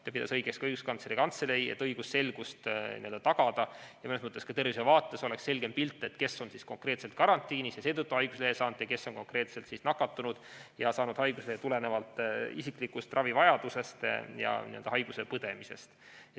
Seda pidas õigeks ka Õiguskantsleri Kantselei, selleks et tagada õigusselgus ja et mõnes mõttes ka tervishoiu vaates oleks selgem pilt, kes on karantiinis ja seetõttu haiguslehe saanud ning kes on nakatunud ja saanud haiguslehe tulenevalt isiklikust ravivajadusest ja haiguse põdemisest.